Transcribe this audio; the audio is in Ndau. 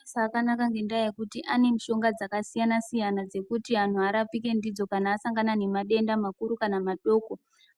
Mabasa akanaka mangingi ngendaa yekuti ane mishonga dzakasiyana-siyana, dzekuti antu arapike ndidzo kana asangana nemadenda makuru kana madoko.